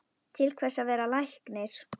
Til hvers að vera læknir?